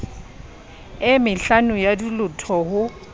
e mehlano ya dilotho ho